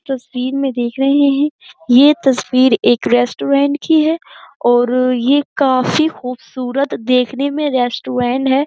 तस्वीर मै देख रहे हैं। ये तस्वीर एक रेस्टोरेंट की है और ये काफ़ी ख़ुबसूरत देखने मै रेस्टोरेंट है।